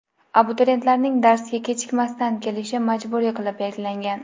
Abituriyentlarning darsga kechikmasdan kelishi majburiy qilib belgilangan.